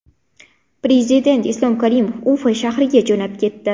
Prezident Islom Karimov Ufa shahriga jo‘nab ketdi.